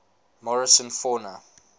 morrison fauna